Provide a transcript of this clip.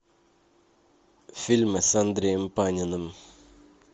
фильмы с андреем паниным